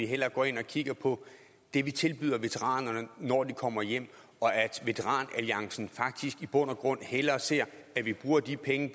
hellere går ind og kigger på det vi tilbyder veteranerne når de kommer hjem og at veteran alliancen faktisk i bund og grund hellere ser at vi bruger de penge